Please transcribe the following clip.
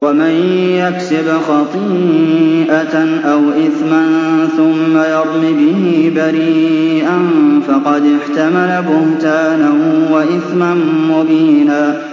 وَمَن يَكْسِبْ خَطِيئَةً أَوْ إِثْمًا ثُمَّ يَرْمِ بِهِ بَرِيئًا فَقَدِ احْتَمَلَ بُهْتَانًا وَإِثْمًا مُّبِينًا